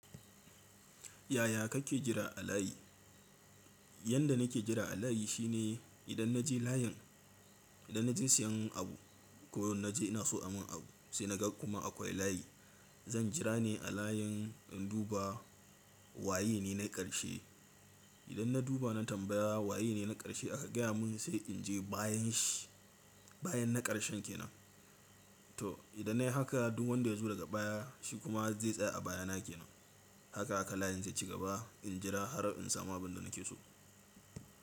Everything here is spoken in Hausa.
Yaya kake jira a layi? Yanda nake jira a layi shine idan na je layin, idan na je siyan abu ko na je ina so amun abu sai na ga kuma akwai layi. Zan jira ne a layin in duba waye ne na ƙarshe. Idan na duba nan tambaya waye ne na ƙarshe aka gaya mun sai in je bayan shi bayan na ƙarshen kenan. To idan nayi haka duk wanda ya zo daga baya shi kuma zai tsaya a baya na kenan. Haka haka layin zai ci gaba in jira har in samu abun da nake so.